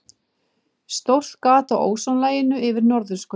Stórt gat á ósonlaginu yfir norðurskauti